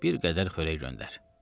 bir qədər xörək göndər.